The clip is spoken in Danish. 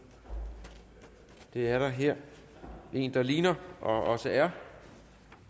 det er der her en der ligner og også er